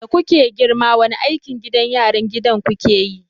Da kuke girma wani aikin gida yaran gidan ku ke yi?